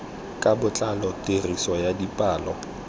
ka botlalo tiriso ya dipalo